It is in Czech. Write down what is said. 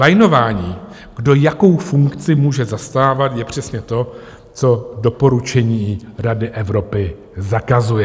Lajnování, kdo jakou funkci může zastávat, je přesně to, co doporučení Rady Evropy zakazuje.